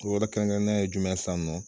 To yɔrɔ kɛrɛnkɛrɛn na ye jumɛn san nɔ?